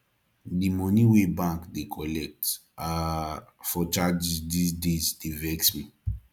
di moni wey bank dey collect um for charges dese days dey vex me